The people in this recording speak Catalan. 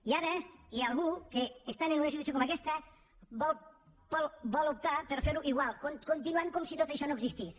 i ara hi ha algú que estant en una situació com aquesta vol optar per fer ho igual continuant com si tot això no existís